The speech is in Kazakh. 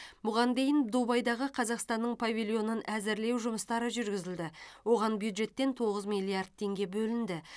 бұған дейін дубайдағы қазақстанның павильонын әзірлеу жұмыстары жүргізілді оған бюджеттен тоғыз миллиард теңге бөлінді